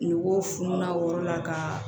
Ngɔ fununa wɔɔrɔ la ka